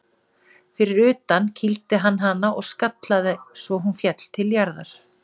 Fyrir utan kýldi hann hana og skallaði svo hún féll til jarðar.